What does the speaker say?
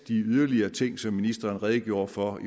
de yderligere ting som ministeren redegjorde for